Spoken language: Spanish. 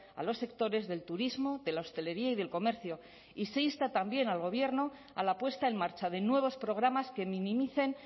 a los sectores del turismo de la hostelería y del comercio y se insta también al gobierno a la puesta en marcha de nuevos programas que minimicen